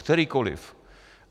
Kterýkoliv.